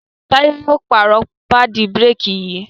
Taye yíò pààrọ̀ paadi bírékì yí